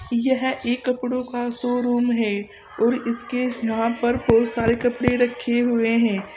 यह एक कपड़ों का शोरूम है और इसके यहां पर बहुत सारे कपड़े रखे हुए हैं।